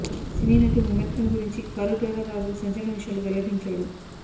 సినీ నటి ముమైత్ ఖాన్ గురించి car driver Raju సంచలన విషయాలు వెల్లడించాడు